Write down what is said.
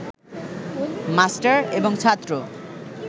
master এবং ছাত্র